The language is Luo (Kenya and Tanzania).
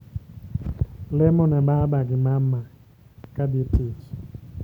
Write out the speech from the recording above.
Lemo ne baba gi mama ka dhi tich